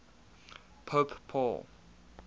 pope paul